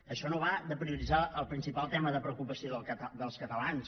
això no va de prioritzar el principal tema de preocupació dels catalans